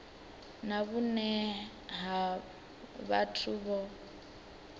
na vhune ha vhathu vho